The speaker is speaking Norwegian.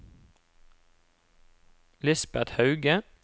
Lisbet Hauge